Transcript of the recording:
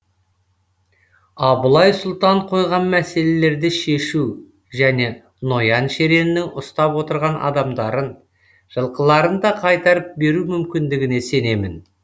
абылай сұлтан қойған мәселелерді шешу және ноян шереннің ұстап отырған адамдарын жылқыларын да қайтарып беру мүмкіндігіне сенемін